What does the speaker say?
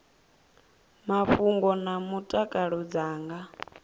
mafhungo na mutakalo dza nga